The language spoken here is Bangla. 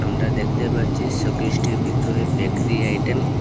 আমরা দেখতে পাচ্ছি শোকেসটির ভিতরে বেকরি আইটেম ।